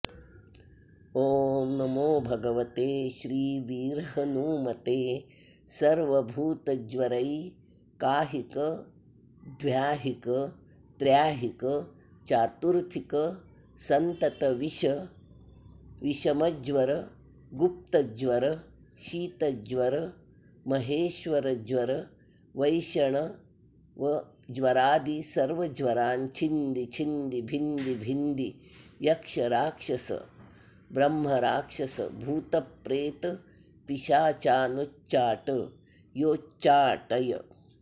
ओं नमो भगवते श्री वीरहनूमते सर्वभूतज्वरैकाहिकद्व्याहिकत्र्याहिकचातुर्थिकसन्ततविष मज्वरगुप्तज्वरशीतज्वरमहेश्वरज्वरवैष्णवज्वरादिसर्वज्वरान् छिन्दि छिन्दि भिन्दि भिन्दि यक्षराक्षसब्रह्मराक्षसभूतप्रेतपिशाचानुच्चाट योच्चाटय